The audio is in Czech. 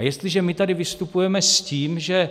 A jestliže my tady vystupujeme s tím, že